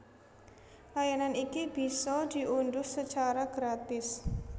Layanan iki bisa diundhuh sacara gratis